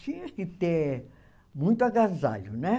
Tinha que ter muito agasalho, né?